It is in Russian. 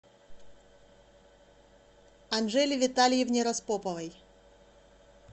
анжеле витальевне распоповой